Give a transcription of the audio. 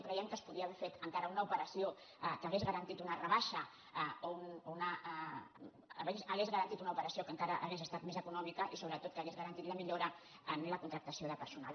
creiem que es podia haver fet encara una operació que hagués garantit una operació que encara hauria estat més econòmica i sobretot que hauria garantit la millora en la contractació de personal